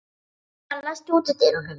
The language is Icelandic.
Tildra, læstu útidyrunum.